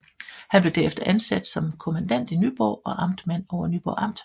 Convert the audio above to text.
Han blev derefter ansat som kommandant i Nyborg og amtmand over Nyborg Amt